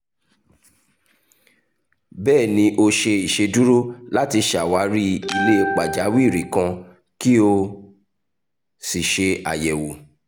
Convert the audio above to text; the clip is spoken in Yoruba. bẹẹni o ṣe iṣeduro lati ṣawari ile pajawiri kan ki o si ṣe ayẹwo